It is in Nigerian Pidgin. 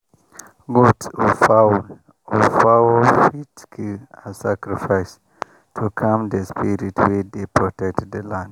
goat or fowl or fowl fit kill as sacrifice to calm the spirit wey dey protect the land.